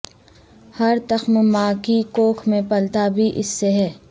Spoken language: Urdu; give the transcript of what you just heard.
ہر تخم ماں کی کوکھ میں پلتا بھی اس سے ہے